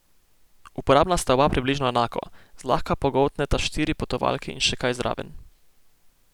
Uporabna sta oba približno enako, zlahka pogoltneta štiri potovalke in še kaj zraven.